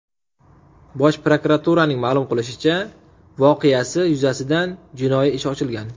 Bosh prokuraturaning ma’lum qilishicha , voqeasi yuzasidan jinoiy ish ochilgan.